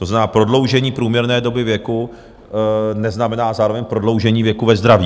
To znamená, prodloužení průměrné doby věku neznamená zároveň prodloužení věku ve zdraví.